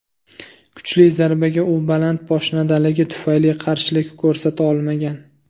Kuchli zarbaga u baland poshnadaligi tufayli qarshilik ko‘rsata olmagan.